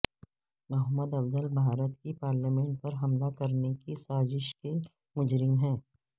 محمد افضل بھارت کی پارلیمنٹ پر حملہ کرنے کی سازش کے مجرم ہیں